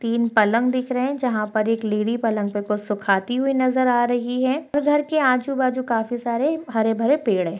तीन पलंग दिख रहे है जहां पर एक लेडी पलंग पर कुछ सुखाती हुई नजर आ रही है घर के आजू-बाजू काफी सारे हरे-भरे पेड़ है।